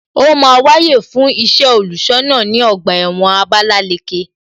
Ó máa wáyè fún iṣẹ́ olùṣọ́ náà ní ọgbà ẹ̀wọ̀n Abalaleke